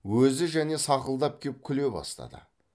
өзі және сақылдап кеп күле бастады